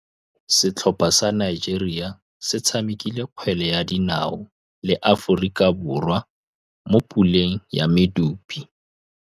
Setlhopha sa Nigeria se tshamekile kgwele ya dinaô le Aforika Borwa mo puleng ya medupe.